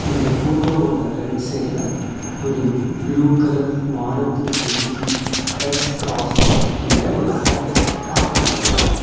இந்த ஃபோட்டோவோட ரைட் சைடுல ஒரு blue colour Maruti Suzuki S Cross அப்டிங்கற ஒரு கார் பார்க் பண்ணிருக்காங்க.